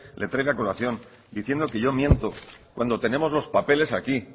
le traiga a colación diciendo que yo miento cuando tenemos los papeles aquí